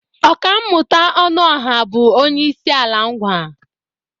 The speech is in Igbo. Ọkammụta Ọnụọha bụ onye Isiala Ńgwà.